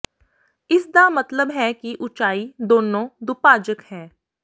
ਇਸ ਦਾ ਮਤਲਬ ਹੈ ਕਿ ਉਚਾਈ ਦੋਨੋ ਦੁਭਾਜਕ ਹੈ